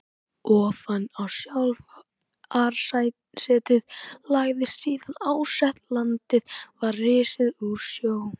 Ofan á sjávarsetið lagðist síðan árset, landið var risið úr sjó.